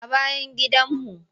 A bayan gidanmu.